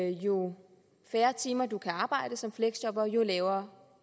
jo færre timer man kan arbejde som fleksjobber jo lavere